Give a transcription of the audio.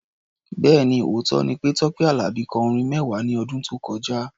Bẹ́ẹ̀ni, òótọ́ ni pé Tọ́pẹ́ Àlàbí kọ orin mẹ́wàá ní ọdún tó kọjá.